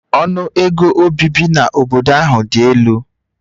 Ọnụ ego obibi n'obodo ahụ dị elu